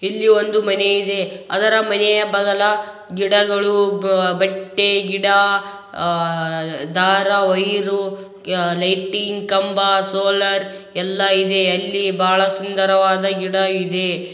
ಇಲ್ಲಿ ಒಂದು ಮನೆಯಿದೆ ಅದ್ರ ಮನೆಯ ಬಾಗಲ ಗಿಡಗಳು ಬೆಟ್ಟೆ ಗಿಡ ದಾರ ವೈರು ಲೈಟಿಂಗ್ ಕಂಬ ಸೋಲಾರ್ ಎಲ್ಲ ಇದೆ ಅಲ್ಲಿ ಬಹಳ ಸುಂದರವಾದ ಗಿಡ ಇದೆ.